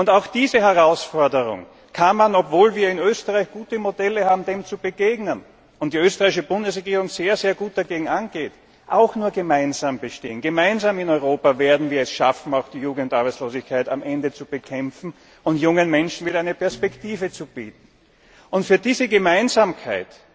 Und diese Herausforderung kann man, obwohl wir in Österreich gute Modelle haben, dem zu begegnen, und die österreichische Bundesregierung sehr gut dagegen angeht, auch nur gemeinsam bestehen. Gemeinsam werden wir es in Europa schaffen, auch die Jugendarbeitslosigkeit am Ende zu bekämpfen und jungen Menschen wieder eine Perspektive zu bieten. Für diese Gemeinsamkeit